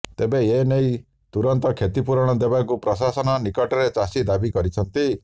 ତେବେ ଏନେଇ ତୁରନ୍ତ କ୍ଷତିପୂରଣ ଦେବାକୁ ପ୍ରଶାସନ ନିକଟରେ ଚାଷୀ ଦାବି କରିଛନ୍ତି